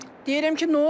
Deyirəm ki, nə oldu?